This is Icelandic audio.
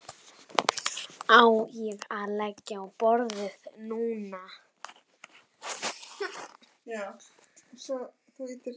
Á ég að leggja á borðið núna?